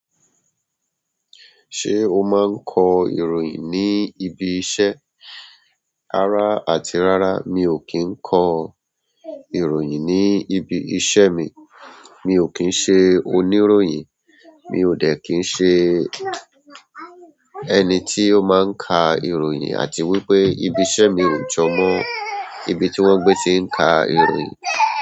Ṣé o máa ń kọ ìròyìn ní ibi iṣẹ́? Rárá àti rárá mi ò kí ń kọ ìròyìn ní ibi iṣẹ́ mi. Mi o ki n se oni ìròyìn mi o de ki n se ẹni tí ó máa ń ka ìròyìn àti wípé ibi iṣẹ́ mi ò jọ mọ́ ibi tí wọ́n gbé ti ń ka ìròyìn.